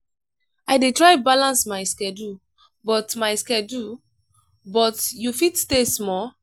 i dey try balance my schedule but my schedule but you fit stay small.